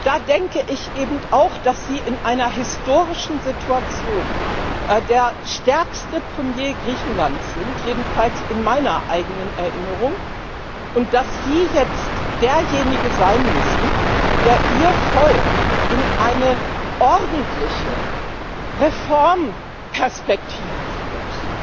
Da denke ich eben auch, dass Sie in einer historischen Situation der stärkste Premier Griechenlands sind, jedenfalls in meiner eigenen Erinnerung, und dass Sie jetzt derjenige sein müssen, der Ihr Volk in eine ordentliche Reformperspektive führt.